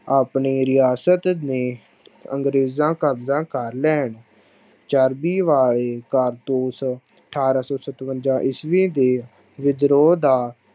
ਆਪਣੀ ਰਿਆਸਤ ਨੇ ਅੰਗਰੇਜ਼ ਕਬਜ਼ਾ ਕਰ ਲੈਣ, ਚਰਬੀ ਵਾਲੇ ਕਾਰਤੂਸ, ਅਠਾਰਾਂ ਸੌ ਸਤਵੰਜਾ ਈਸਵੀ ਦੇ ਵਿਦਰੋਹ ਦਾ